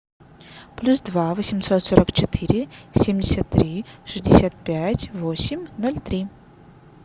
плюс два восемьсот сорок четыре семьдесят три шестьдесят пять восемь ноль три